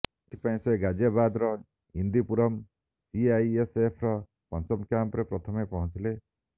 ଏଥିପାଇଁ ସେ ଗାଜିଆବାଦ୍ର ଇନ୍ଦିପୁରମ୍ ସିଆଇଏସ୍ଏଫ୍ର ପଞ୍ଚମ କ୍ୟାମ୍ପରେ ପ୍ରଥମେ ପହଞ୍ଚିଥିଲେ